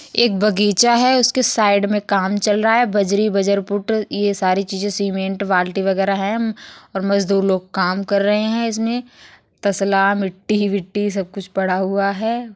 एक बगीचा है। उसके साइड में काम चल रहा है। बजरी बजरपुट ये सारी चीजें सीमेंट बाल्टी वगैरा हैं। म्म और मजदूर लोग काम कर रहे है। इसमें तसला मिट्टी विट्टी सब कुछ पड़ा हुआ हैं।